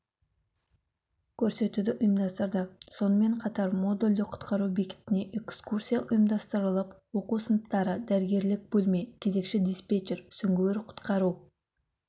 көрсетуді ұйымдастырды сонымен қатар модульді құтқару бекетіне экскурсия ұйымдастырылып оқу сыныптары дәрігерлік бөлме кезекші-диспетчер сүңгуір-құтқару